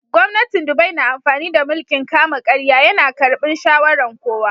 Gwamnatin Dubai na amfani da mulki'n kama-karya. Ya na karbin shawaran kowa.